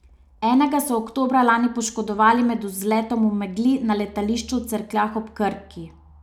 Enega so oktobra lani poškodovali med vzletom v megli na letališču v Cerkljah ob Krki.